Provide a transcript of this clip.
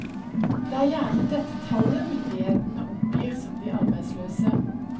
Det er gjerne dette tallet myndighetene oppgir som de arbeidsløse.